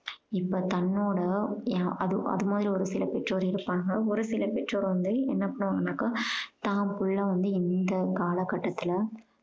இப்போ தன்னோட அது அது மாதிரி ஒரு சில பெர்றோர் இருப்பாங்க. ஒரு சில பெர்றோர் வந்து என்ன சொல்லுவாங்கன்னாக்கா தான் பிள்ளை வந்து இந்த காலக்கட்டத்துல